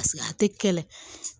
a tɛ kɛlɛ